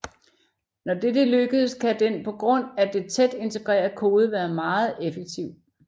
Når dette lykkedes kan den på grund af den tæt integrerede kode være meget effektiv